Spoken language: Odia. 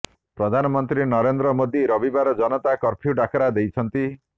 ପ୍ରଧାନମନ୍ତ୍ରୀ ନରେନ୍ଦ୍ର ମୋଦି ରବିବାର ଜନତା କର୍ଫ୍ୟୁ ଡାକରା ଦେଇଛନ୍ତି